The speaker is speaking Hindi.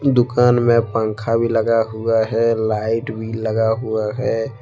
दुकान में पंखा भी लगा हुआ है लाइट भी लगा हुआ है।